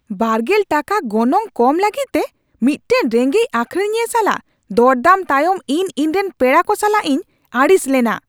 ᱒᱐ ᱴᱟᱠᱟ ᱜᱚᱱᱚᱝ ᱠᱚᱢ ᱞᱟᱹᱜᱤᱫ ᱛᱮ ᱢᱤᱫᱴᱟᱝ ᱨᱮᱸᱜᱮᱪ ᱟᱹᱠᱷᱨᱤᱧᱤᱭᱟᱹ ᱥᱟᱞᱟᱜ ᱫᱚᱨᱫᱟᱢ ᱛᱟᱭᱚᱢ ᱤᱧ ᱤᱧᱨᱮᱱ ᱯᱮᱲᱟ ᱠᱚ ᱥᱟᱞᱟᱜ ᱤᱧ ᱟᱹᱲᱤᱥ ᱞᱮᱱᱟ ᱾